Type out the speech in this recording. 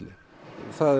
það er